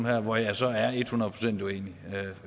her hvor jeg så er et hundrede procent uenig